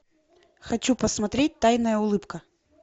хочу посмотреть тайная улыбка